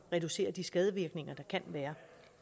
reducere de skadevirkninger der kan være